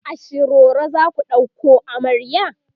a shiroro zaku ɗauko amarya?